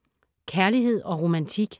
Kærlighed & romantik